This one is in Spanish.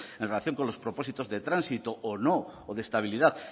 en relación con los propósitos de tránsito o no o de estabilidad